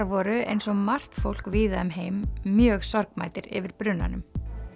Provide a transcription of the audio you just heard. voru eins og margt fólk víða um heim mjög sorgmæddir yfir brunanum